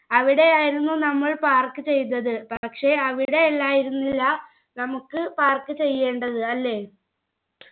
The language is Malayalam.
അവിടെ ആയിരുന്നു നമ്മൾ park ചെയ്തത് പക്ഷെ അവിടെയല്ലായിരുന്നില്ല നമുക്ക് park ചെയ്യേണ്ടത് അല്ലെ